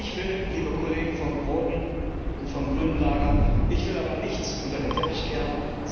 Ich will, liebe Kollegen vom roten und vom grünen Lager, aber nichts unter den Teppich kehren.